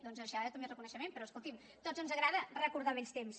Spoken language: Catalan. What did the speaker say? doncs mereixerà també reconeixement però escoltin a tots ens agrada recordar vells temps